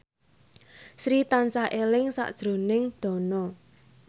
Sri tansah eling sakjroning Dono